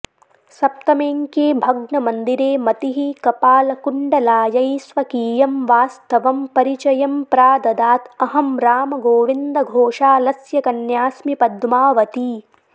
सप्तमेऽङ्के भग्नमन्दिरे मतिः कपालकुण्डलायै स्वकीयं वास्तवं परिचयं प्राददात् अहं रामगोविन्दघोषालस्य कन्यास्मि पद्मावती